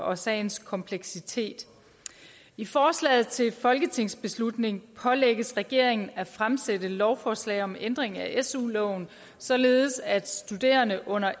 og sagens kompleksitet i forslaget til folketingsbeslutning pålægges regeringen at fremsætte lovforslag om ændring af su loven således at studerende under